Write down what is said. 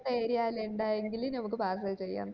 area ല് ഇൻഡേർന്നെങ്കി നമക് parcel ചെയ്യാം